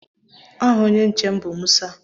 Aha onye nche m bụ Musa.